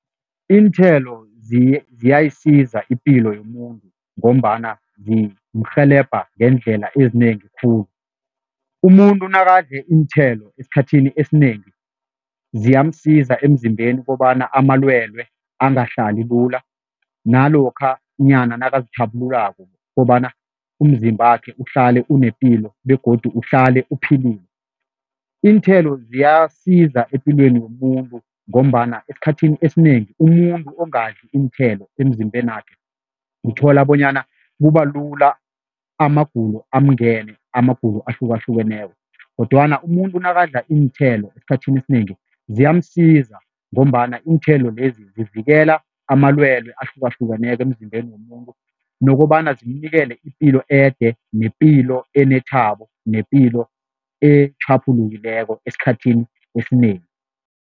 Iinthelo ziyayisiza ipilo yomuntu ngombana zimurhelebha ngeendlela ezinengi khulu, umuntu nakadle iinthelo esikhathini esinengi ziyamsiza emzimbeni kobana amalwelwe angahlali lula nalokhanyana nakazitjhaphululako kobana umzimbakhe uhlale unepilo begodu uhlale uphilile. Iinthelo ziyasiza epilweni yomuntu ngombana esikhathini esinengi umuntu ongadli iinthelo emzimbenakhe uthola bonyana kubalula amagulo amngene, amagulo ahlukahlukeneko kodwana umuntu nakadla iinthelo esikhathini esinengi ziyamsiza ngombana iinthelo lezi zivikela amalwelwe ahlukahlukaneko emzimbeni womuntu nokobana zimnikele ipilo ede, nepilo enethabo, nepilo etjhaphulukileko esikhathini esinengi.